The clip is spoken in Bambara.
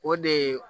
O de ye